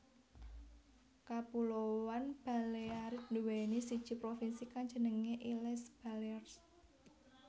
Kapuloan Balearic nduwèni siji provinsi kang jenengé Illes Balears